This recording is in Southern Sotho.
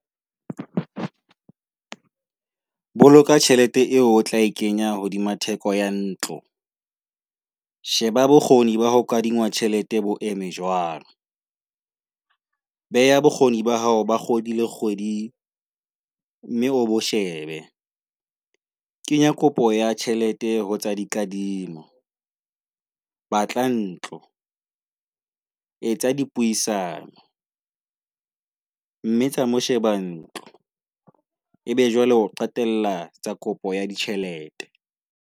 Boloka tjhelete eo o tla e kenya hodima theko ya ntlo. Sheba bokgoni ba ho kadima tjhelete bo eme jwang. Beha bokgoni ba hao ba kgwedi le kgwedi, mme o bo shebe. Kenya kopo ya tjhelete hotsa dikadimo. Batla ntlo, etsa dipuisano. Mme tsa mo sheba ntlo, ebe jwale o qetela tsa kopo ya ditjhelete.